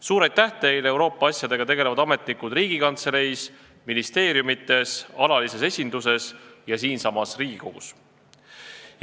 Suur aitäh teile, Euroopa asjadega tegelevad ametnikud Riigikantseleis, ministeeriumites, alalises esinduses ja siinsamas Riigikogus!